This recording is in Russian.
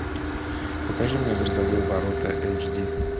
покажи мне грозовые ворота эйч ди